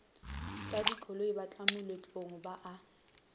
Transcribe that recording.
ka dikoloi batlamoletlong ba a